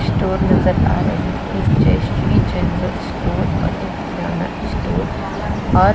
store नजर आ रही एक जयश्री जेनरल स्टोर पर एक किराना स्टोर और --